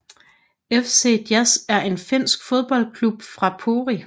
FC Jazz er en finsk fodboldklub fra Pori